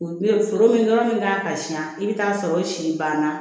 O bɛ foro min nɔrɔ min kan ka si yan i bɛ taa sɔrɔ o si banna